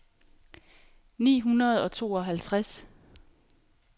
ni hundrede og tooghalvtreds